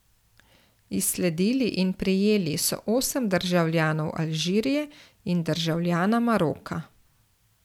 Izsledili in prijeli so osem državljanov Alžirije in državljana Maroka.